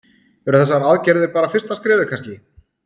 Eru þessar aðgerðir bara fyrsta skrefið kannski?